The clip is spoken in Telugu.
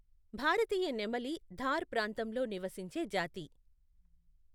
భారతీయ నెమలి థార్ ప్రాంతంలో నివసించే జాతి.